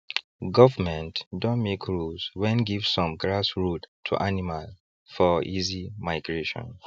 government doh make rules when give some grass road to animal for easy migration